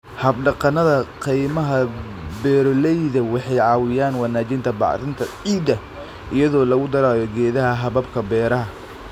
Hab-dhaqannada kaymaha beeroleyda waxay caawiyaan wanaajinta bacrinta ciidda iyadoo lagu darayo geedaha hababka beeraha.